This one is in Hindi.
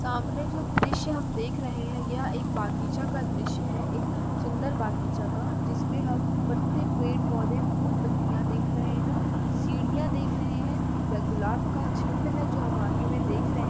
सामने जो दृश्य हम देख रहे हैं यह एक बागीचा का दृश्य हैं एक सुन्दर बागीचा का जिसमे हम पत्ते पेड़ पोधे फुल पत्तियां देख रहे हैं। सीढ़ियाँ देख रहे हैं। यह गुलाब का झुण्ड हैं जो हम आगे में देख रहे हैं।